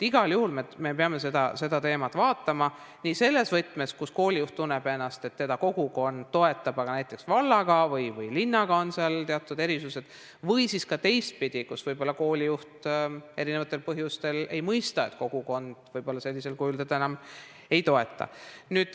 Igal juhul me peame seda teemat vaatama nii selles võtmes, kus koolijuht tunneb, et teda kogukond toetab, aga näiteks vallaga või linnaga on teatud erimeelsusi, või siis on teistpidi, võib-olla koolijuht eri põhjustel ei mõista, et kogukond teda sellisel kujul enam ei toeta.